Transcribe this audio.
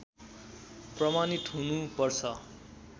प्रमाणित हुनु पर्छ